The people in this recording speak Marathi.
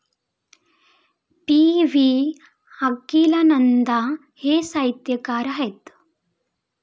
पी.व्ही. अकिलानंदां हे साहित्यकार आहेत.